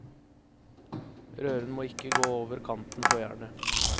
Røren må ikke gå over kanten på jernet.